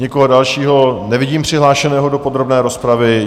Nikoho dalšího nevidím přihlášeného do podrobné rozpravy?